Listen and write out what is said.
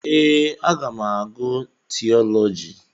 Ee, aga m agụ tiiọlọji.